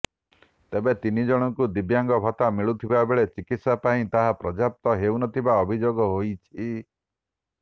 ତେବେ ତିନିଜଣଙ୍କୁ ଦିବ୍ୟାଙ୍ଗ ଭତ୍ତା ମିଳୁଥିବା ବେଳେ ଚିକିତ୍ସା ପାଇଁ ତାହା ପର୍ଯ୍ୟାପ୍ତ ହେଉନଥିବା ଅଭିଯୋଗ ହୋଇଛି